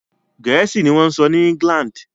Gẹ̀ẹ́sì ni wọ́n ń sọ ní England.